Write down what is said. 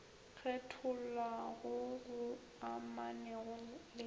kgethollwa goo go amanego le